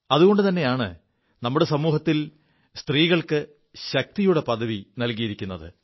അതുകൊണ്ടുതെയാണ് നമ്മുടെ സമൂഹത്തിൽ സ്ത്രീകൾക്ക് ശക്തിയുടെ പദവി നൽകിയിരിക്കുത്